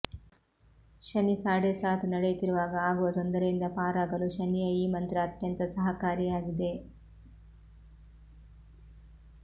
ಶನಿ ಸಾಡೇಸಾತ್ ನಡೆಯುತ್ತಿರುವಾಗ ಆಗುವ ತೊಂದರೆಯಿಂದ ಪಾರಾಗಲು ಶನಿಯ ಈ ಮಂತ್ರ ಅತ್ಯಂತ ಸಹಕಾರಿಯಾಗಿದೆ